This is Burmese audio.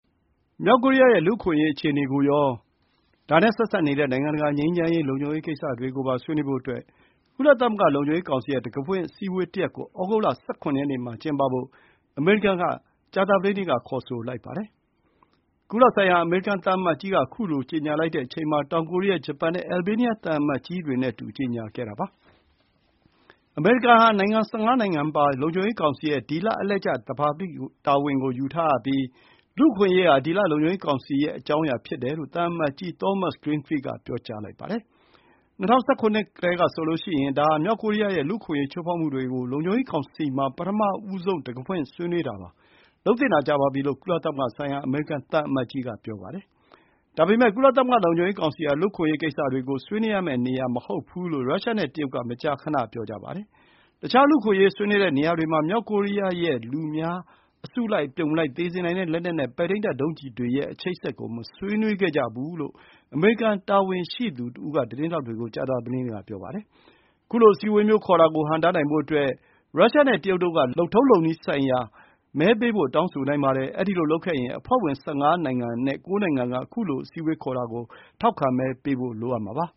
မြောက်ကိုရီးယားရဲ့ လူ့အခွင့်အရေးအခြေအနေကိုရော ဒါနဲ့ဆက်စပ်နေတဲ့ နိုင်ငံတကာငြိမ်းချမ်းရေး၊ လုံခြုံရေးကိစ္စတွေကိုပါ ဆွေးနွေးဖို့အတွက် ကုလသမဂ္ဂ လုံခြုံရေးကောင်စီရဲ့ တံခါးဖွင့်အစည်းအဝေးတရပ်ကို ဩဂုတ်လ ၁၇ ရက်နေ့မှာ ကျင်းပဖို့ အမေရိကန်က ကြာသပတေးနေ့က ခေါ်ဆိုလိုက်ပါတယ်။ ကုလဆိုင်ရာ အမေရိကန်သံအမတ်ကြီးက ခုလို ကြေညာလိုက်တဲ့အချိန်မှာ တောင်ကိုရီးယား၊ ဂျပန်နဲ့ အယ်ဘေးနီးယား သံအမတ်ကြီးတွေနဲ့အတူ ကြေညာခဲ့တာပါ။ အမေရိကန်ဟာ ၁၅ နိုင်ငံပါ လုံခြုံရေးကောင်စီရဲ့ ဒီလ အလှည့်ကျ သဘာပတိတာဝန်ယူထားပြီး လူ့အခွင့်အရေးဟာ ဒီလ လုံခြုံရေးကောင်စီရဲ့ အကြောင်းအရာဖြစ်တယ်လို့ သံအမတ်ကြီး သောမတ်စ် ဂရင်းဖီးလ် က ပြောပါတယ်။ ၂၀၁၇ ခုနှစ်ကတည်းကဆိုရင် ဒါဟာ မြောက်ကိုရီးယားရဲ့ လူ့အခွင့်အရေး ချိုးဖောက်မှုတွေကို လုံခြုံရေးကောင်စီမှာ ပထမဆုံး တံခါးဖွင့်ဆွေးနွေးတာပါ။ လုပ်သင့်တာကြာပါပြီ လို့ ကုလသမဂ္ဂဆိုင်ရာ အမေရိကန် သံအမတ်ကြီးက ပြောပါတယ်။ ဒါပေမဲ့ ကုလသမဂ္ဂ လုံခြုံရေးကောင်စီဟာ လူ့အခွင့်အရေးကိစ္စတွေကို ဆွေးနွေးရမယ့် နေရာမဟုတ်ဘူးလို့ ရုရှားနဲ့တရုတ်က မကြာခဏပြောကြပါတယ်။ တခြား လူ့အခွင့်အရေးဆွေးနွေးတဲ့နေရာတွေမှာ မြောက်ကိုရီးယားရဲ့ လူတွေ အစုလိုက် အပြုံလိုက် သေစေနိုင်တဲ့ လက်နက်နဲ့ ပဲ့ထိန်းတပ်ဒုံးကျည်တွေရဲ့ အချိတ်အဆက် ကို မဆွေးနွေးခဲ့ကြဖူးဘူးလို့ အမေရိကန်တာဝန်ရှိသူတဦးက သတင်းထောက်တွေ ကို ကြာသပတေးနေ့ က ပြောပါတယ်။ ခုလို အစည်းအဝေးမျိုး ခေါ်တာကို ဟန့်တားနိုင်ဖို့အတွက် ရုရှားနဲ့တရုတ်တို့က လုပ်ထုံးနည်းလမ်းဆိုင်ရာ မဲပေးဖို့ တောင်းဆိုနိုင်ပါတယ်။ အဲဒီလိုလုပ်ခဲ့ရင် အဖွဲ့ဝင် ၁၅ နိုင်ငံအနက် ၉ နိုင်ငံက ခုလို အစည်းအဝေးခေါ်တာကို ထောက်ခံမဲပေးကြဖို့ လိုအပ်ပါ